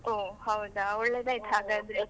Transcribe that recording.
ಓಹ್ ಹೌದಾ? ಒಳ್ಳೆದಾಯ್ತು .